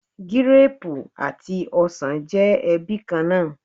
Gírápù àti ọsàn jẹ́ ẹbí kan náà.